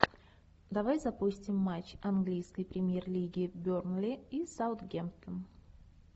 давай запустим матч английской премьер лиги бернли и саутгемптон